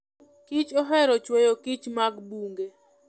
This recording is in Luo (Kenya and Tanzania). kich ohero chweyo kich mag bungu.